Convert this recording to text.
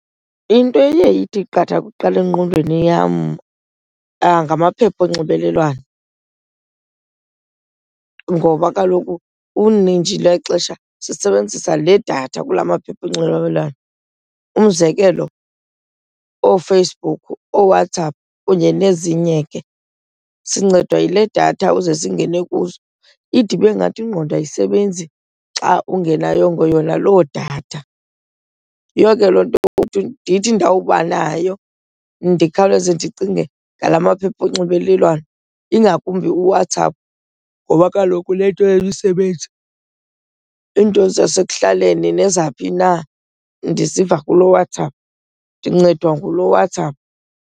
Ento eye ithi qatha kuqala engqondweni yam ngamaphepha onxibelelwano ngoba kaloku unintshi lwexesha sisebenzisa le datha kulaa maphepha onxibelelwano. Umzekelo, ooFacebook, ooWhatsApp kunye nezinye ke, sincedwa yile datha uze singene kuzo. Ide ibe ngathi ingqondo ayisebenzi xa ungenayongo yona loo datha. Yiyo ke loo nto ndithi ndawubanayo ndikhawuleze ndicinge ngalaa maphepha onxibelelwano, ingakumbi uWhatsApp ngoba kaloku unento yemisebenzi. Iinto zasekuhlaleni nezaphi na ndiziva kulo WhatsApp, ndincedwa ngulo WhatsApp.